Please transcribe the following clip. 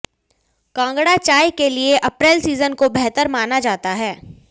कांगड़ा चाय के लिए अप्रैल सीजन को बेहतर माना जाता है